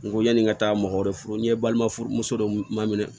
N ko yani n ka taa mɔgɔ wɛrɛ furu n'i balima muso dɔ ma minɛ